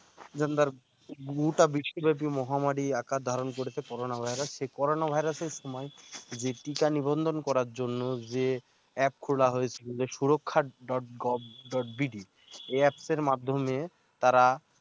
gender বেশি ভাবে মহামারী আকার ধারণ করেছে corona virus সেই corona virus সময়ে যে টিকা নিবন্ধন করার জন্য যে app খোলা হয়েছিল সুরক্ষা গভর্নমেন্ট এডঃ এই app এর মাধ্যমেই তারা